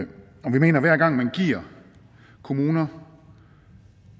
vi mener at hver gang man giver kommuner